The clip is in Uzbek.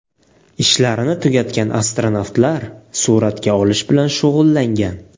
Ishlarini tugatgan astronavtlar suratga olish bilan shug‘ullangan.